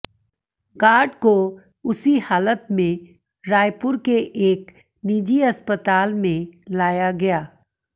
guard को उसी हालत में रायपुर के एक निजी अस्पताल में लाया गया